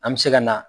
An bɛ se ka na